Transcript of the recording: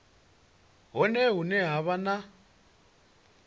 hone hune ha vha na